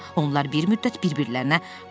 Onlar bir müddət bir-birlərinə baxdılar.